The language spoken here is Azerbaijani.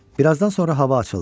Birazdan sonra hava açıldı.